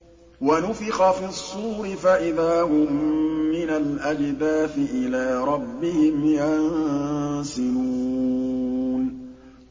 وَنُفِخَ فِي الصُّورِ فَإِذَا هُم مِّنَ الْأَجْدَاثِ إِلَىٰ رَبِّهِمْ يَنسِلُونَ